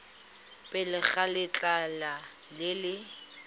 pele ga letlha le le